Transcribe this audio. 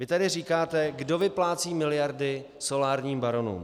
Vy tady říkáte, kdo vyplácí miliardy solárním baronům.